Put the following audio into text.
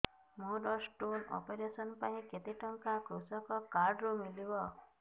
ମୋର stone operation ପାଇଁ କେତେ ଟଙ୍କା କୃଷକ କାର୍ଡ ରୁ ମିଳିବ